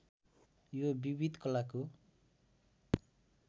यो विविध कलाको